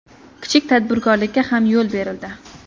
Kichik tadbirkorlikka ham yo‘l berildi”.